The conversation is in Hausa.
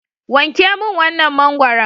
Wanke min wannan mangwaron.